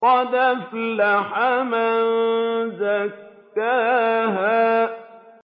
قَدْ أَفْلَحَ مَن زَكَّاهَا